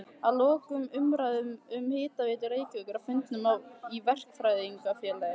Að loknum umræðum um Hitaveitu Reykjavíkur á fundum í Verkfræðingafélagi